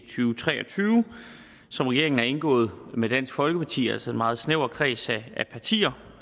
tre og tyve som regeringen har indgået med dansk folkeparti altså meget snæver kreds af partier